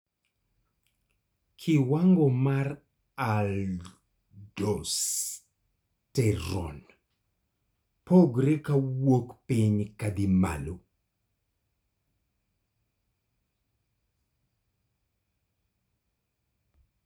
kiwango mar Aldosterone pogore kawuok piny kadhi malo